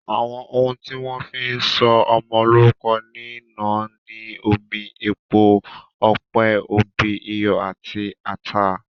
Àwọn oún tí wón fí sọ ọmọ lórúko ní náà ni omi, epo ọ̀pẹ, òbí, iyọ àti atá.